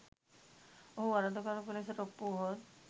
ඔහු වරදකරුවකු ලෙසට ඔප්පු වුවහොත්